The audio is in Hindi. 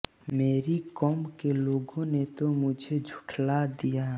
मेरी क़ौम के लोगों ने तो मुझे झुठला दिया